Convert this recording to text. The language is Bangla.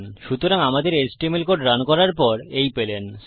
সুতরাং আমাদের এচটিএমএল কোড রান করার পর এই পেলেন